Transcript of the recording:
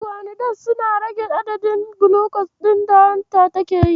Biguanides suna rage adadin gulucos ɗin da hanta take yi.